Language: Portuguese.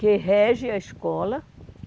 que rege a escola.